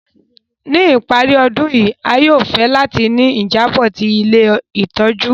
Ni ìparí ọdun yi, a yóò fẹ láti ni ìjábò ti ilé ìtójú